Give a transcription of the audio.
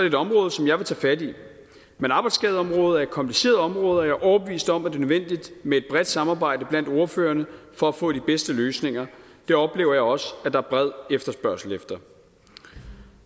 et område som jeg vil tage fat i men arbejdsskadeområdet er et kompliceret område og jeg er overbevist om at det er nødvendigt med et bredt samarbejde blandt ordførerne for at få de bedste løsninger det oplever jeg også at der er bred efterspørgsel efter